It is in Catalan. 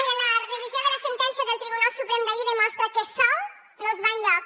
mirin la revisió de la sentència del tribunal suprem d’ahir demostra que sol no es va enlloc